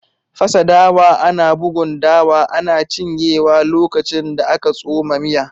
Fasa dawa, ana bugun dawa ana cinyewa lokacin da aka tsoma miya